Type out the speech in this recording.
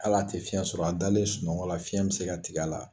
Hali a tɛ fiyɛn sɔrɔ a dalen sunɔgɔ la fiyɛn bɛ se ka tigɛ a la.